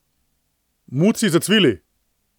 Muci zacvili.